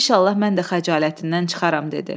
İnşallah mən də xəcalətindən çıxaram dedi.